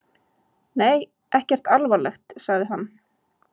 Nei, ekkert alvarlegt, sagði hann.